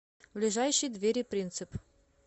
ближайший двери принцип